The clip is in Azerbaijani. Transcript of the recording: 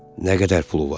Nə qədər pulu var?